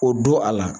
O don a la